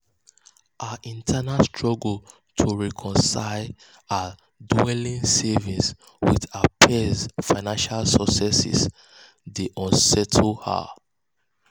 her internal struggle um to reconcile um to reconcile her dwindling savings with her peers' financial successes dey unsettle her.